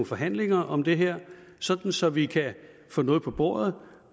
forhandlinger om det her så så vi kan få noget på bordet